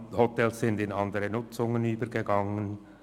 Hotels sind in andere Nutzungen überführt worden;